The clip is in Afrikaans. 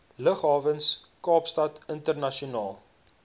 lughawens kaapstad internasionaal